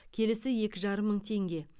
келісі екі жарым мың теңге